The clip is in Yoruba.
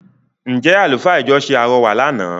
Ǹ jẹ̀ àlùfáà ìjọ ṣe àrọwà lànà?